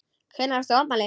Hvenær átt þú afmæli?